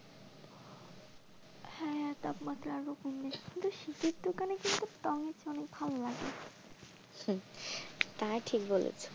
হ্যাঁ তাপমাত্রা আরো কমবে, কিন্তু শীতের দোকানে কিন্তু অনেক ভালো লাগে